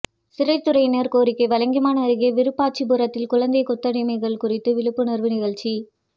சிறைத்துறையினர் கோரிக்கை வலங்கைமான் அருகே விருப்பாச்சிபுரத்தில் குழந்தை கொத்தடிமைகள் குறித்து விழிப்புணர்வு நிகழ்ச்சி